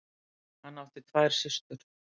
Hann átti tvær systur.